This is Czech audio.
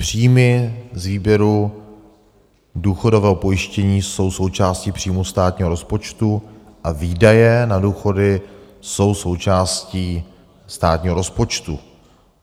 Příjmy z výběru důchodového pojištění jsou součástí příjmů státního rozpočtu a výdaje na důchody jsou součástí státního rozpočtu.